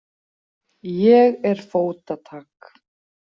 Ég er fótatak.